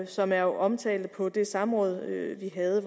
som jeg omtalte på det samråd vi havde